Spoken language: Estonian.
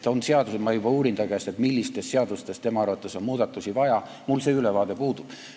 Ma juba uurin ta käest, millistes seadustes tema arvates on muudatusi vaja, mul see ülevaade puudub.